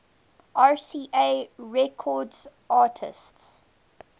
rca records artists